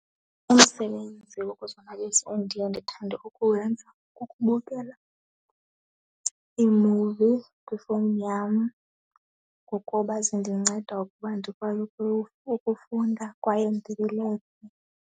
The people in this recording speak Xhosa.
Umsebenzi wokuzonwabisa endiye ndithande ukuwenza kukubukela iimuvi kwifowuni yam ngokuba zindinceda ukuba ndikwazi ukuba ukufunda kwaye .